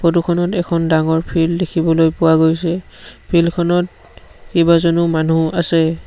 Photo খনত এখন ডাঙৰ ফিল্ড দেখিবলৈ পোৱা গৈছে ফিল্ড খনত কেইবাজনো মানুহ আছে।